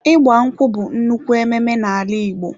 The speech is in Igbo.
ịgbankwụ bú nnukwu ememe na ala Ìgbo.